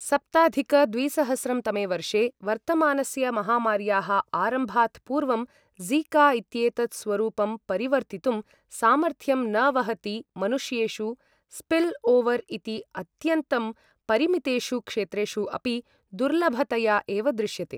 सप्ताधिक द्विसहस्रं तमे वर्षे, वर्तमानस्य महामार्याः आरम्भात् पूर्वं, ज़िका इत्येतत् स्वरूपं परिवर्तितुं सामर्थ्यं न वहति मनुष्येषु स्पिल् ओवर् इति अत्यन्तं परिमितेषु क्षेत्रेषु अपि दुर्लभतया एव दृश्यते ।